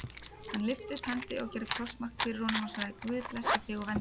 Hann lyfti upp hendi og gerði krossmark fyrir honum og sagði:-Guð blessi þig og verndi.